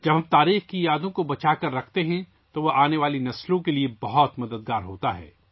جب ہم تاریخ کی یادوں کو سنبھال کر رکھتے ہیں تو اس سے آنے والی نسلوں کے لیے بہت مدد ملتی ہے